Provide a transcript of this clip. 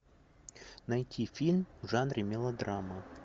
найти фильм в жанре мелодрама